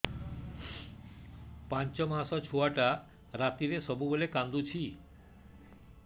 ପାଞ୍ଚ ମାସ ଛୁଆଟା ରାତିରେ ସବୁବେଳେ କାନ୍ଦୁଚି